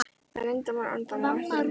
Það er leyndarmál ennþá, má ekki leka út.